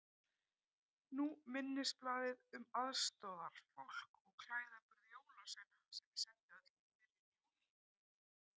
Nú minnisblaðið um aðstoðarfólk og klæðaburð jólasveina sem ég sendi öllum í byrjun Júní.